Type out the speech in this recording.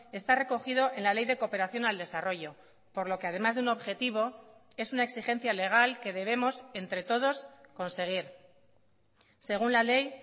está recogido en la ley de cooperación al desarrollo por lo que además de un objetivo es una exigencia legal que debemos entre todos conseguir según la ley